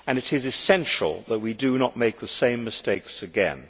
It is essential that we do not make the same mistakes again.